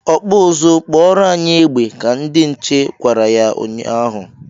"Ọkpụ ụzụ kpụọro anyị egbe!" ka ndị nche gwara ya nnya ahụ.